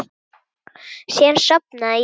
Síðan sofnaði ég.